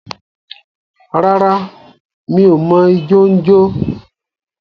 Rárá, m̀í o mọ ijọ n jọ.